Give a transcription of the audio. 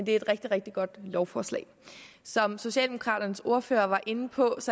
et rigtig rigtig godt lovforslag som socialdemokraternes ordfører var inde på